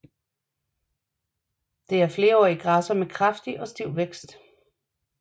Det er flerårige græsser med kraftig og stiv vækst